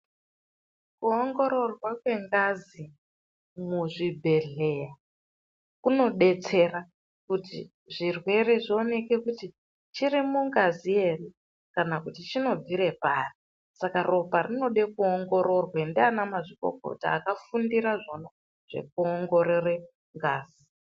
Kuongororwa kwengazi muzvibhedhlera kunodetsera kuti zvirwere zvioneke kuti chiri mungazi here kana kuti chinobvira pari. Saka ropa rinoda kuongororwa ndiana mazvikokota akafundira zvona zvekuongorore ngazi.